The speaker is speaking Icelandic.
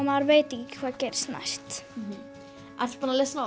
maður veit ekki hvað gerist næst ertu búin að lesa